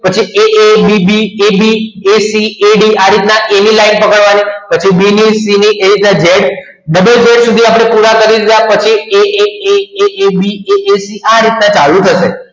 પછી a a b a a d આ રીતના એની લાઈન પકડવાની પછી બી ની z બધાની થોડા કર્યા પછી a a b a c આ રીતના ચાલુ કરશે